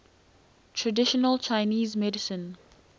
traditional chinese medicine